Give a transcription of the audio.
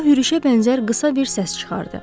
O hürüşə bənzər qısa bir səs çıxardı.